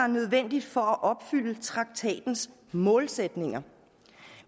nødvendigt for at opfylde traktatens målsætninger